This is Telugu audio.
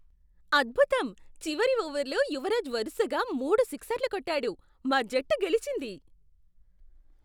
అద్భుతం! చివరి ఓవర్లో యువరాజ్ వరుసగా మూడు సిక్సర్లు కొట్టాడు, మా జట్టు గెలిచింది.